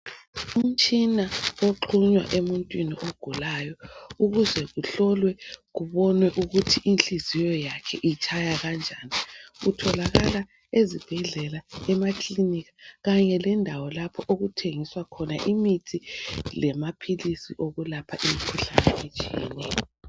Umtshina oxhunywa emuntwini ogulayo ukuze kuhlolwe kubonwe ukuthi inhliziyo yakhe itshaya kanjani utholakala ezibhedlela, emakalinika kanye lendawo lapho okuthengiswa khona amithi lemaphilisi okwelapha imikhuhlane etshiyeneyo.